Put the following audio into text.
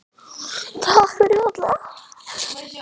Takk fyrir, Holla.